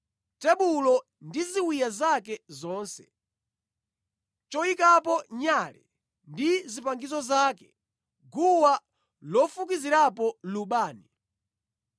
tebulo, ndi ziwiya zake zonse, choyikapo nyale ndi zipangizo zake, guwa lofukizirapo lubani,